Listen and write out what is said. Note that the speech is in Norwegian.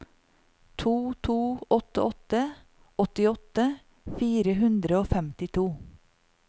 to to åtte åtte åttiåtte fire hundre og femtito